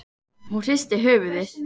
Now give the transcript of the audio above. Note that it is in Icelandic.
Hún hristir höfuðið.